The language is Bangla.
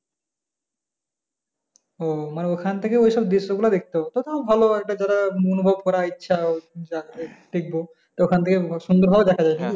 ও মানে ওইখান থেকে ওইসব দৃশ্য গুলো দেখতে পাবো তো তাও ভালো একটা যারা অনুভব করার ইচ্ছা, যাদের দেখব তো ওখান থেকে সুন্দর ভাবে দেখা যায়